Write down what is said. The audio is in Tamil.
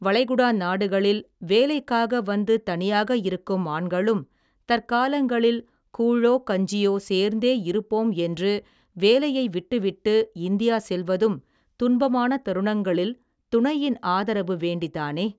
வளைகுடா நாடுகளில் வேலைக்காக வந்து தனியாக இருக்கும் ஆண்களும் தற்காலங்களில் கூழோ கஞ்சியோ சேர்ந்தே இருப்போம் என்று வேலையை விட்டுவிட்டு இந்தியா செல்வதும் துன்பமான தருணங்களில் துணையின் ஆதரவு வேண்டிதானே.